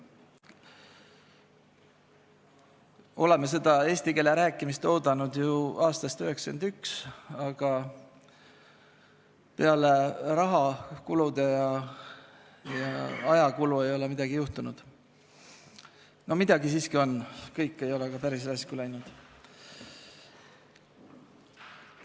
Oleme seda eesti keeles rääkimist oodanud ju aastast 1991, aga peale raha- ja ajakulu ei ole midagi juhtunud – või no midagi siiski on, kõik ei ole ka päris raisku läinud.